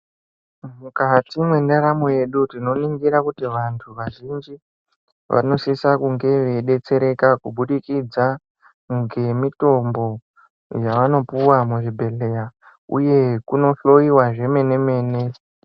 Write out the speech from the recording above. Mukati mwendaramo yedu tinoningira kuti vantu vazhinji vanosisa kunge veidetsereka kubudikidza ngemitombo yavanopiwa muzvibhedhleya uye kunohloyiwa zvemene-mene.